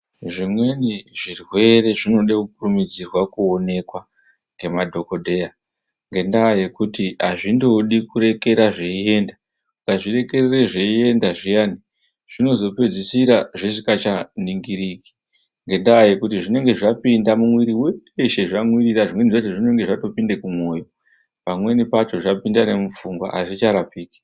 Zvimweni zvirwere zvinode kukurumidzirwa kuonekwa ngemadhokodheya ngendaa yekuti hazvindodi kurekera zveienda. Ukazvirekerera zveienda zviyani, Zvinozopedzisira zvisingachaningiriki ngendaa yekuti zvinenge zvapinda mumwiri weshe zvamwirira ,zvimweni zvacho zvinenge zvatopinde kumwoyo. Pamweni pacho zvapinda nemupfungwa hazvicharapiki.